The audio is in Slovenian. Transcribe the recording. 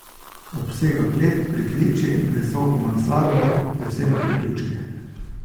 Obsega klet, pritličje in visoko mansardo, z vsemi priključki.